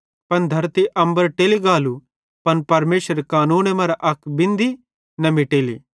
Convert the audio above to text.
पन धरती अम्बर टेली गालू पन परमेशरेरे कानूने मरां अक बिंदी भी न मिटेली